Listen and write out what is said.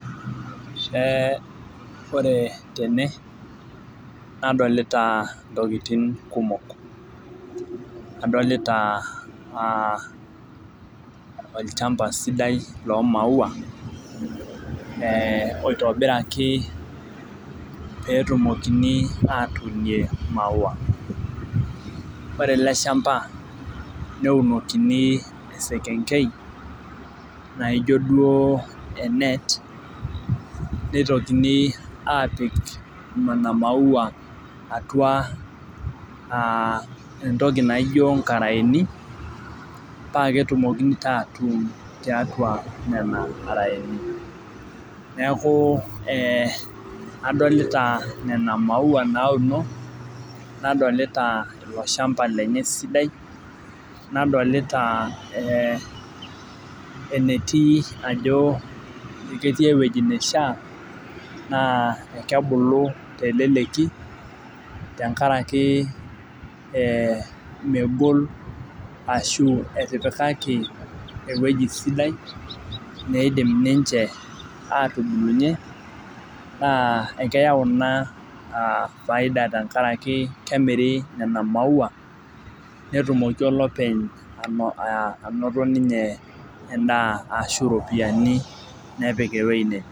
Ee ore tene nadolita ntokitin kumok, adolita aa olchampa sidai loo maua, ee oitobiraki pee etumokini atuunie maua. ore ele shampa, netumokini esekenkei naijo duoo e net neitokini aapik Nena maua, atiua entoki naijo nkarayeni. paa ketumokini taa atuun tiatua Ina arae. neeku adolita Nena maua nauno. nadolita, olchampa lenye sidai . nadolita ee enetii ajo ketii ewueji nishaa, naa ekebulu teleleki, tenkaraki ee megol ashu etipikake ewueji sidai neidim ninche atubulunye naa ekeyau Ina aa faida tenkaraki kemiri, Nena maua, netumoki olopeny. anoto ninye edaa ashu iropiyiani nepik ewueji neje.